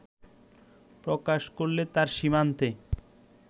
প্রকাশ করলে তার সীমান্তে